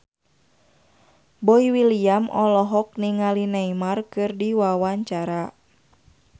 Boy William olohok ningali Neymar keur diwawancara